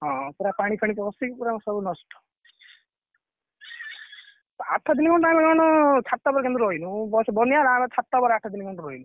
ହଁ ପୁରା ପାଣିଫାଣୀ ପଶିକି ପୁରା ସବୁ ନଷ୍ଟ ଆଠ ଦିନ ମାନେ ଛାତଉପରେ କିନ୍ତୁ ରହିଲୁ ବନ୍ୟା ହେଲା ଆମେ ଛାତ ଉପରେ ଆଠ ଦିନ ରହିଲୁ।